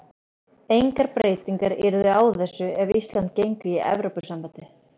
Engar breytingar yrðu á þessu ef Ísland gengur í Evrópusambandið.